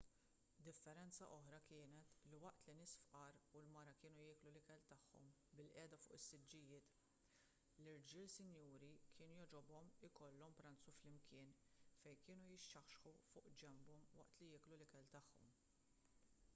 differenza oħra kienet li waqt li n-nies fqar u l-mara kienu jieklu l-ikel tagħhom bilqiegħda fuq is-siġġijiet l-irġiel sinjuri kien jogħġobhom ikollhom pranzu flimkien fejn kienu jixxaħxħu fuq ġenbhom waqt li jieklu l-ikel tagħhom